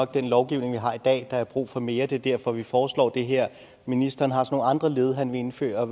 den lovgivning vi har i dag er er brug for mere og det er derfor vi foreslår det her ministeren har så nogle andre led han vil indføre